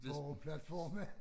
Boreplatforme